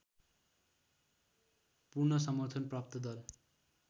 पूर्ण समर्थन प्राप्त दल